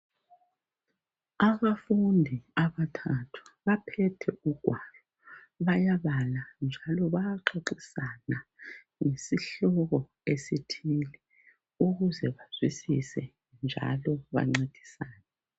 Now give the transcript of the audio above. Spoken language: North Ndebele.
Abafundi abathathu baphethe ugwalo bayabala njalo bayaxoxisana ngesihloko esithile ukuze bazwisise njalo bancedisane.